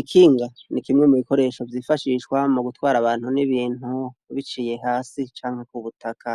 Ikinga n'ikimwe mubikoresho vyifashishwa mugutwara abantu n'ibintu ,biciye hasi canke k'ubutaka,